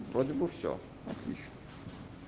вроде бы все отлично